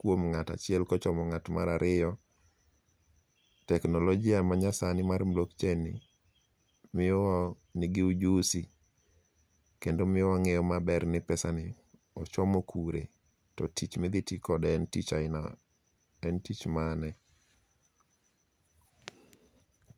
kuom ng'at achiel kochomo ng'at mar ariyo, teknolojia manyasani mar Blockchain ni nigi ujusi kendo miyo wang'eyo maber ni pesani ochomo kure to tich midhiti kode en tich mane.